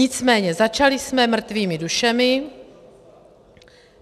Nicméně začali jsme mrtvými dušemi.